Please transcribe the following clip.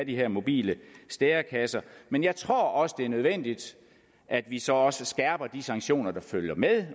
de her mobile stærekasser men jeg tror også det er nødvendigt at vi så så skærper de sanktioner der følger med